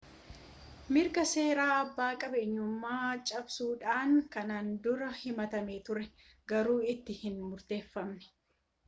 mirga seeraa abbaa qabeenyummaa cabsuudhaan kanaan dura himatamee ture garuu itti hin murtoofne